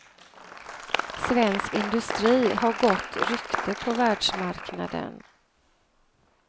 Svensk industri har gott rykte på världsmarknaden.